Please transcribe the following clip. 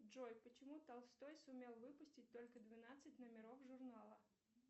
джой почему толстой сумел выпустить только двенадцать номеров журнала